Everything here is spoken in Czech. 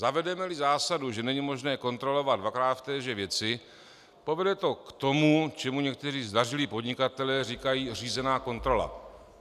Zavedeme-li zásadu, že není možné kontrolovat dvakrát v téže věci, povede to k tomu, čemu někteří zdařilí podnikatelé říkají řízená kontrola.